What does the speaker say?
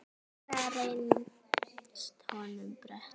Brekka reynst honum brött.